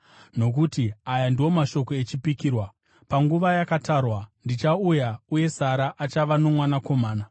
Nokuti aya ndiwo mashoko echipikirwa: “Panguva yakatarwa ndichauya, uye Sara achava nomwanakomana.”